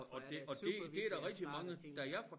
Derfor er det supervigtigt at snakke om tingene